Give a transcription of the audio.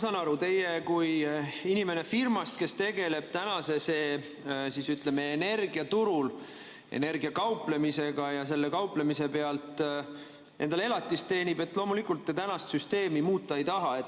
Ma saan aru, teie kui inimene firmast, kes tegeleb energiaturul energiaga kauplemisega ja selle kauplemise pealt endale elatist teenib, loomulikult tänast süsteemi muuta ei taha.